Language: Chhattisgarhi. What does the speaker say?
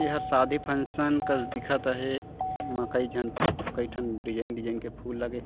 एहर शादी फंशन कस दिखता हे एमा कई झन कई ठन डिज़ाइन डिज़ाइन के फूल लगे हे।